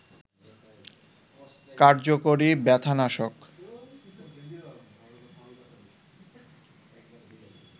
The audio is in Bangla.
কার্যকরী ব্যথানাশক